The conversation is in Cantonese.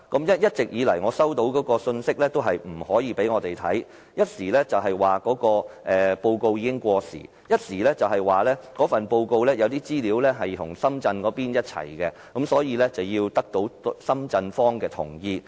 我一直收到的信息是，不能夠讓我們看，一時說報告已經過時，一時說報告中有些資料與深圳一起完成，所以要得到深圳一方的同意。